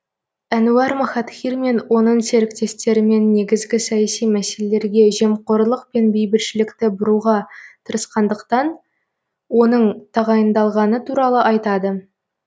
әнуар махатхир мен оның серіктестерімен негізгі саяси мәселелерге жемқорлық пен бейбітшілікті бұруға тырысқандықтан оның тағайындалғаны туралы айтады